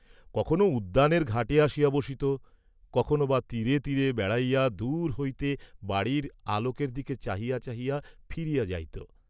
কখনও উদ্যানের ঘাটে আসিয়া বসিত, কখনও বা তীরে তীরে বেড়াইয়া দূর হইতে বাড়ীর আলােকের দিকে চাহিয়া চাহিয়া ফিরিয়া যাইত।